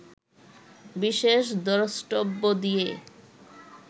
বিশেষ দ্রষ্টব্য দিয়ে